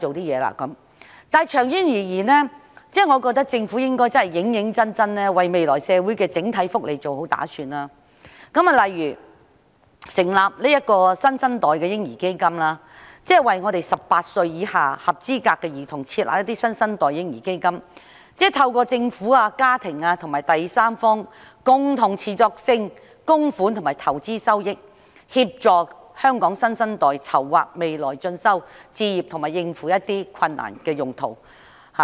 然而，長遠而言，我認為政府應該認真為未來社會的整體福利作好打算，例如成立新生代的嬰兒基金，為18歲以下合資格的兒童設立新生代嬰兒基金，利用政府、家庭及第三方共同持續性的供款和投資收益，協助香港新生代籌劃未來進修、置業及應付一些困難。